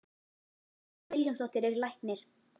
Lína Vilhjálmsdóttir er læknir.